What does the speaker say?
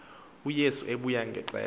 uyesu ebuya ngexesha